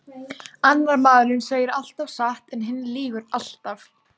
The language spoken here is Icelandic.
Annar maðurinn segir alltaf satt en hinn lýgur alltaf.